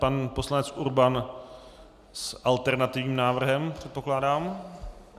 Pan poslanec Urban s alternativním návrhem, předpokládám.